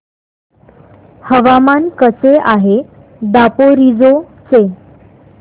हवामान कसे आहे दापोरिजो चे